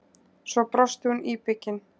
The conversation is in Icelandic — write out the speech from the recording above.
Svo brosti hún íbyggin.